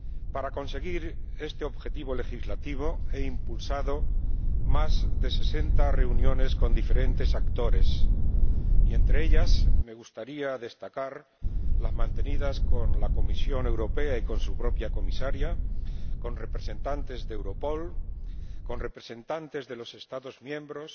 Para conseguir este objetivo legislativo he impulsado más de sesenta reuniones con diferentes actores y, entre ellas, me gustaría destacar las mantenidas con la Comisión Europea y con su Comisaria, con representantes de Europol, con representantes de los Estados miembros,